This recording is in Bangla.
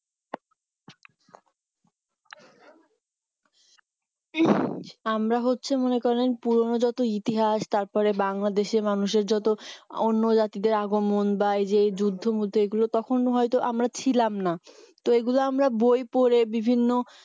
হ্যাঁ আমরা হচ্ছে মনে করেন পুরনো যত ইতিহাস তারপরে বাংলাদেশের মানুষের যত অন্য জাতিদের আগমন বা এই যে যুদ্ধ মুদ্ধ এইগুলো তখন হয়ত আমরা ছিলাম না তো এইগুলো আমরা বই পড়ে বিভিন্ন